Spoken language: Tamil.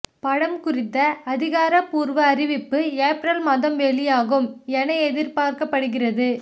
படம் குறித்த அதிகாரப்பூர்வ அறிவிப்பு ஏப்ரல் மாதம் வெளியாகும் என எதிர்பார்க்கப்படுகிறது